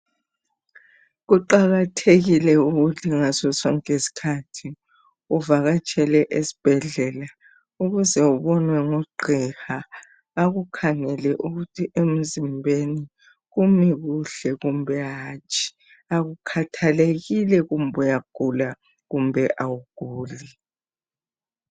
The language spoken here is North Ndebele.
Kuqakathekile ukuthi ngaso sonke isikhathi uvakatshele esibhedlela. Ukuze ubonwe ngugqiha. Akukhangele ukuthi emzimbeni, kumi kuhle, kumbe hatshi. Akukhathalekile kumbe uyagula kumbe awuguli.